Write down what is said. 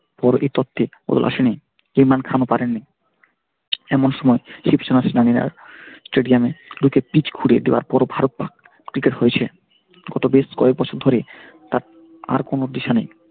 বদল আসেনি ইমরান খান ও পারেননি। এমন সময় stadium এ ঢুকে পিচ খুড়ে দেওয়ার পর ও ভারত পাক হয়েছে। গত বেশ কয়েক বছর ধরে তার আর কোন দিশা নেই ।